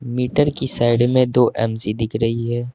Metre की side में दो एम सी दिख रही है।